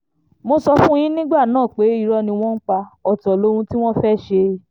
mo sọ fún yín nígbà náà pé irọ́ ni wọ́n ń pa ọ̀tọ̀ lóhun tí wọ́n fẹ́ẹ́ ṣe